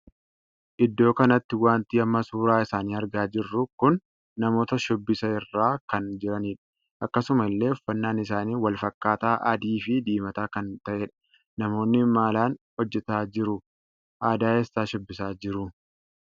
Idoo kanatti wanti amma suuraa isaanii argaa jirru kun namoota shubbisa irra kan jiranidha. akkasuma illee uffannaan isaanii wal fakkaataa adii fi diimataa kan tahedha. namoonni maalan hojjetaa jiru? aadaa eessaa shubbisaa jiru ?